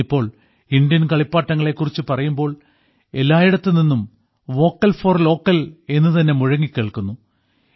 ഇന്നിപ്പോൾ ഇന്ത്യൻ കളിപ്പാട്ടങ്ങളെ കുറിച്ച് പറയുമ്പോൾ എല്ലായിടത്തു നിന്നും വോക്കൽ ഫോർ ലോക്കൽ എന്നുതന്നെ മുഴങ്ങിക്കേൾക്കുന്നു